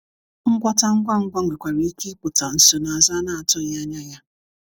ngwọta ngwa ngwa nwekwara ike ipụta nsonaazu a na-atughi anya ya